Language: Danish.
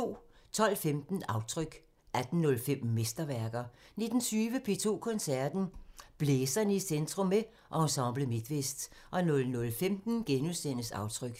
12:15: Aftryk 18:05: Mesterværker 19:20: P2 Koncerten – Blæserne i centrum – med Ensemble Midtvest 00:15: Aftryk *